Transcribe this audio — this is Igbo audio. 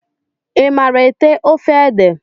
Ị maara ete ofe ede?